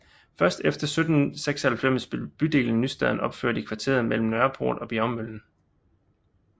Først efter 1796 blev bydelen Nystaden opført i kvarteret mellem Nørreport og Bjergmøllen